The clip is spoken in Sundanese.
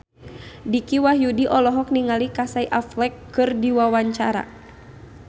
Dicky Wahyudi olohok ningali Casey Affleck keur diwawancara